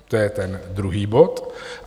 To je ten druhý bod.